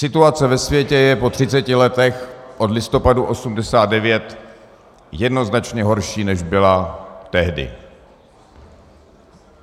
Situace ve světě je po třiceti letech od listopadu 1989 jednoznačně horší, než byla tehdy.